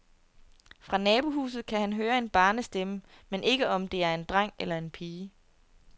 Fra nabohuset kan han høre en barnestemme, men ikke om det er en dreng eller pige.